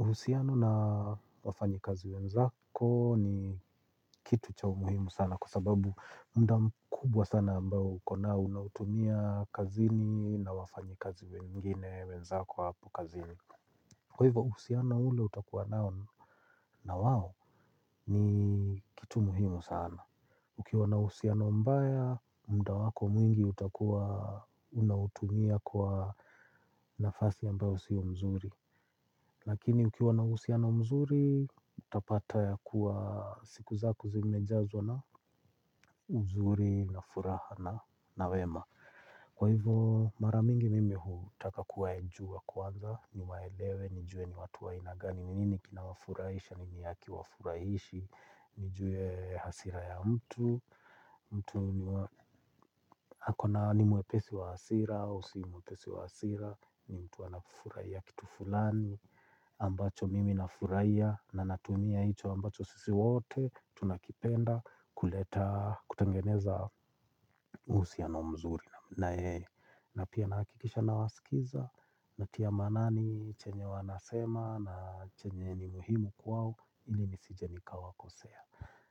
Uhusiano na wafanyi kazi wenzako ni kitu chau muhimu sana kwa sababu mudam kubwa sana ambaou kona unautumia kazini na wafanyi kazi wengine wenzako hapo kazini. Kwa hivyo uhusiano ule utakua nao na wao ni kitu muhimu sana. Ukiwa na uhusiano mbaya, muda wako mwingi utakuwa unautumia kwa nafasi ambayo sio mzuri. Lakini ukiwa na uhusia no mzuri, utapata ya kuwa siku zako zimejazwa na uzuri na furaha na nawema. Kwa hivyo maramingi mimi hutaka kuwa jua kwanza, niwaelewe, nijue ni watuwa ainagani ninini kina wafurahisha, nini haki wafurahishi, nijue hasira ya mtu. Mtu niwa, ako na nimwe pesi wa hasira, ausiomwe pesi wa hasira, ni mtu anafurahi a kitu fulani ambacho mimi na furahia na natumia hicho ambacho sisi wote tunakipenda kuleta kutengeneza uhusia no mzuri na yeye. Na pia nahakikisha na wasikiza. Natia maanani chenye wanasema na chenye ni muhimu kwao ili ni sije nikawa kosea.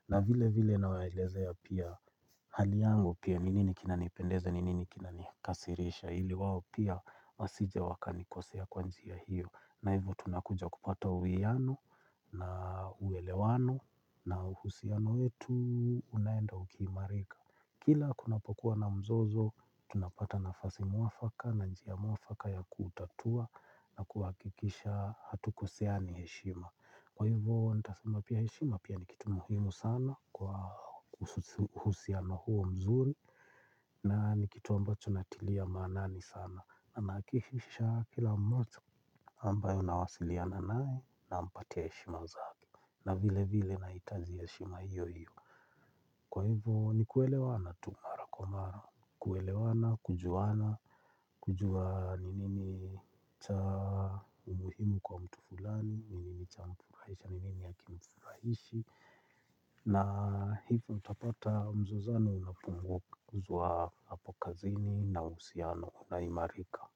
Na vile vile na waelezea pia haliyangu pia. Ni nini kina nipendeza ni nini kina nikasirisha ili wao pia wasije wakani kosea kwanji a hiyo. Na hivyo tunakuja kupata uwelewano na uhusiano wetu unaenda ukiimarika. Kila kuna pokua na mzozo tunapata na fasi mwafaka na njia mwafaka ya kutatua na kuhakikisha hatuko seani heshima. Kwa hivyo nitasema pia heshima pia nikitu muhimu sana kwa uhusiano huo mzuri na nikitu ambacho natilia maanani sana. Na nahakihisha kila mmoja ambayo nawasiliana nae na mpati ahe shima zake. Na vile vile nah itaji heshima hiyo hiyo. Kwa hivyo ni kuelewana tumara kwamara kuelewana, kujuana, kujua ninini cha umuhimu kwa mtu fulani, ninini cha mfurahisahNi nini hakimfurahi. Na hivyo utapata mzo zano unapungua ku zua hapokazini na uhusiano una imarika.